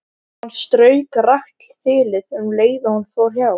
Hann strauk rakt þilið um leið og hann fór hjá.